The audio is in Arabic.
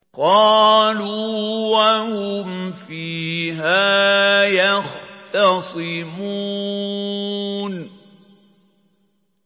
قَالُوا وَهُمْ فِيهَا يَخْتَصِمُونَ